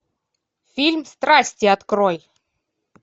фильм страсти открой